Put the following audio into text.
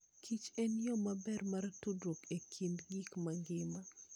Kich enyo maber mar tudruok e kind gik mangima.